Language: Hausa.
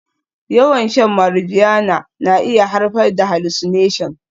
Yawan shan marijuana na iya haifar da hallucination